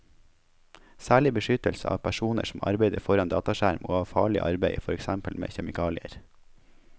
Særlig beskyttelse av personer som arbeider foran dataskjerm og av farlig arbeid, for eksempel med kjemikalier.